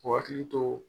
K'u hakili to